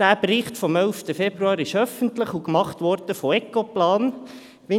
Der Bericht vom 11. Februar ist öffentlich und von Ecoplan erstellt worden.